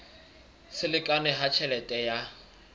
se lekane ha tjhelete ya